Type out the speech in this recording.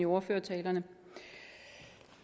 ordfører så er